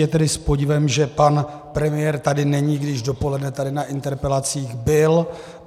Je tedy s podivem, že pan premiér tady není, když dopoledne tady na interpelacích byl.